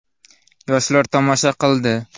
Yoshlar tomosha qildi.